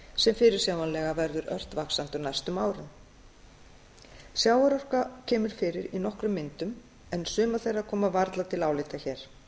sem fyrirsjáanlega verður ört vaxandi á næstu árum sjávarorka kemur fyrir í nokkrum myndum en sumar þeirra koma varla til álita hér